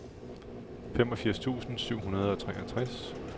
femogfirs tusind syv hundrede og treogtres